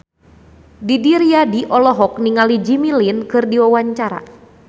Didi Riyadi olohok ningali Jimmy Lin keur diwawancara